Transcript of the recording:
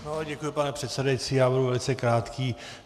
Děkuji, pane předsedající, já budu velice krátký.